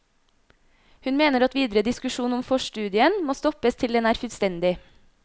Hun mener at videre diskusjon om forstudien må stoppes til den er fullstendig.